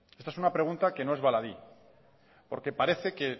esta es una pregunta que no es baladí porque parece que